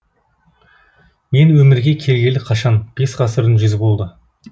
мен өмірге келгелі қашан бес ғасырдың жүзі болды